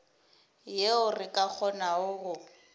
yeo re ka kgonago go